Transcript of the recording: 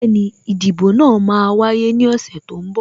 Bẹẹni, ìdìbò náà máa wáyé ní ọ̀sẹ̀ tó ń bọ̀